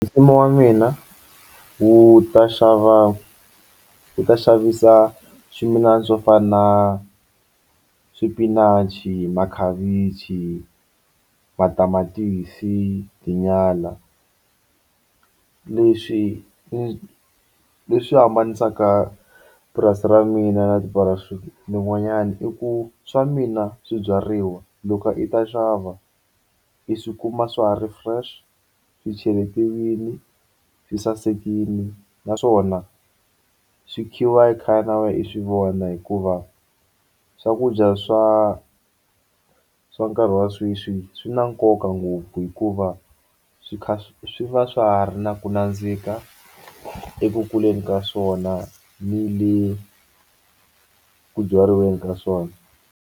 Mfumo wa mina wu ta xava wu ta xavisa swimilana swo fana na swipinachi makhavichi matamatisi tinyala leswi leswi u hambanisa ka purasi ra mina na i ku swa mina swibyariwa loko i ta xava i swi kuma swa ha ri fresh swi chekiwile swi sasekile naswona swi khiwa i ka khaya na wena u swivona hikuva swakudya swa swa nkarhi wa sweswi swi na nkoka ngopfu hikuva swi kha swi va swa ha ri na ku nandzika eku kuleni ka swona ni le ku byaliweni ka swona.